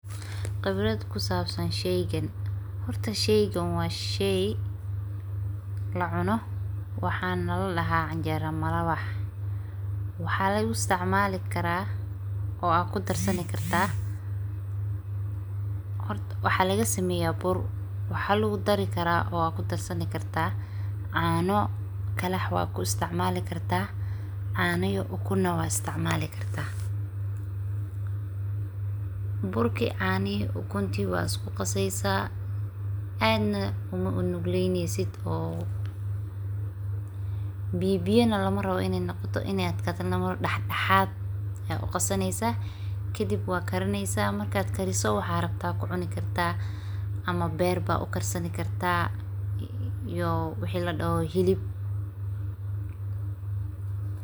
Khibrad kusaabsan sherwani, was shey lacuna waxaana ladhahaa canjeero malawax, waxaa laguna isticmali karaa oo ad kudarsani kartaa, horta was lagasameyaa bur, waxaa laguna dari karma ama ad kudarsani kartaa caano keli waad kudarsani kartaa, caano iyo ukun nah waad uisticmali kartaa, burkii, caanihi iyo ukuntii waad isku qaseysaa, aad uma nugleynesid oo biyabiya nah lamarabo, iney adkatana malarabo dhaxdhaxaad ayaa uqasaneysaa, kadib waa karineysaa, markaad kariso waxad rabto waad kucuni kartaa ama beer ayaa ukarsani kartaa iyo wixii ladhaho hilib.